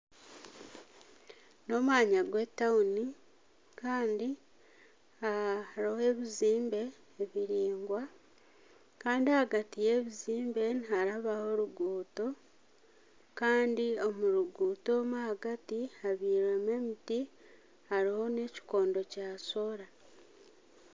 N'omwanya gw'etawuni kandi hariho ebizimbe biraingwa kandi ahagati y'ebizimbe niharabaho oruguuto kandi omuruguuto omu ahagati habyirwemu emiti hariho na ekikondo kya Sora.